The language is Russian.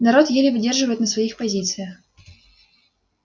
народ еле выдерживает на своих позициях